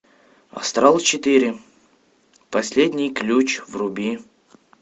астрал четыре последний ключ вруби